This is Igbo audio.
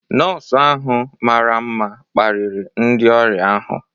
Nọọsụ ahụ mara mma kparịrị ndị ọrịa ahụ.